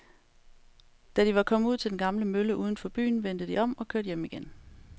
Da de var kommet ud til den gamle mølle uden for byen, vendte de om og kørte hjem igen.